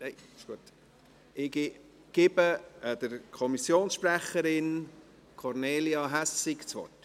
Ich gebe der Kommissionssprecherin, Kornelia Hässig, das Wort.